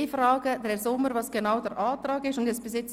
Ich frage Herrn Sommer, wie sein Antrag genau lautet.